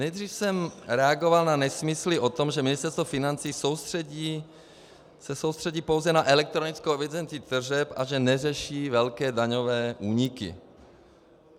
Nejdříve jsem reagoval na nesmysly o tom, že Ministerstvo financí se soustředí pouze na elektronickou evidenci tržeb a že neřeší velké daňové úniky.